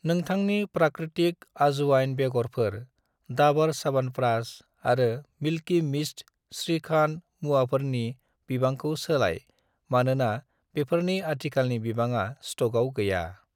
नोंथांनि प्राकृतिक आजवाइन बेगरफोर , दाबर च्यावनप्राश आरो मिल्कि मिस्त श्रीखान्ड मुवाफोरनि बिबांखौ सोलाय मानोना बेफोरनि आथिखालनि बिबाङा स्टकआव गैया